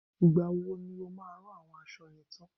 Ìgbà wo ni o máa rán àwọn àwọn aṣọ yẹn tán?